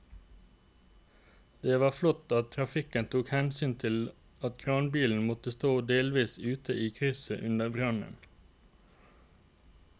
Det var flott at trafikken tok hensyn til at kranbilen måtte stå delvis ute i krysset under brannen.